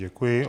Děkuji.